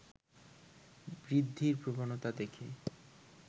বৃদ্ধির প্রবণতা দেখে